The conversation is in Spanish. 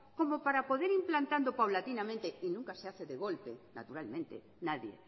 como para poder ir implantando paulatinamente y nunca se hace de golpe naturalmente nadie